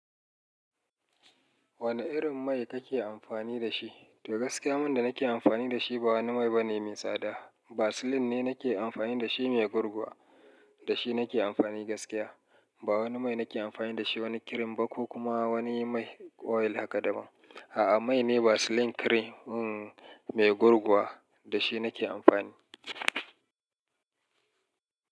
Wane irin mai kake amfani da shi? To gaskiya, man da nake amfani da shi ba wani mai ba ne mai tsada. Vaseline ne nake amfani da shi, mai gurguwa. Da shi nake amfani gaskiya. Ba wani mai nake amfani da shi, wani cream ba ko kuma wani mai oil haka dabam. A'a, mai ne Vaseline cream, hmm, mai gurguwa. Da shi nake amfani.